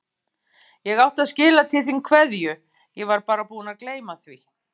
Ég átti að skila til þín kveðju, ég var bara búin að gleyma því.